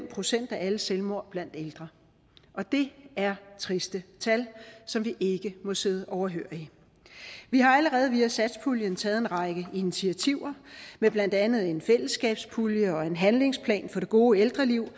procent af alle selvmord blandt ældre og det er triste tal som vi ikke må sidde overhørig vi har allerede via satspuljen taget en række initiativer med blandt andet en fællesskabspulje og en handlingsplan for det gode ældreliv